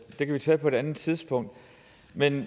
det kan vi tage på et andet tidspunkt